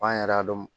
F'an yɛrɛ y'a dɔn